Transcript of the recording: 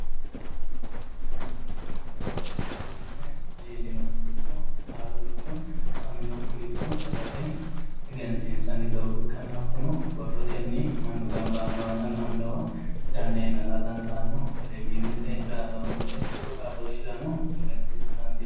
egenshiishsha yaa mittoricho dagate reqecci assine leellinokkiricho afaminokkiricho dagate egensiinsanni doogo ikkanna hakkuno dagate mannu gamba yinowanna la''annowa ganneenna la''a dandaanno telewishiinete raadoonete tuqu xaadooshshirano egensiisa dandiinanni.